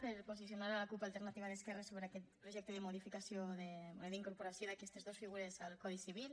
per posicionar la cup alternativa d’esquerres sobre aquest projecte de modificació o d’incorporació d’aquestes dos figures al codi civil